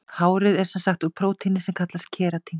Hárið er sem sagt úr prótíni sem kallast keratín.